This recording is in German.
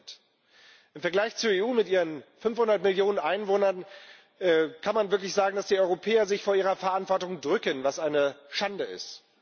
10 Im Vergleich zur EU mit ihren 500 Millionen Einwohnern kann man wirklich sagen, dass die Europäer sich vor ihrer Verantwortung drücken, was eine Schande ist.